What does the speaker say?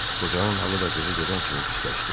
Qocanın halı da qızı gedən kimi pisləşdi.